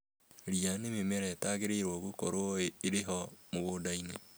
Ria nĩ mĩmera ĩrĩa itagĩriirwo gũkorwo ĩrĩ ho mũgũnda-inĩ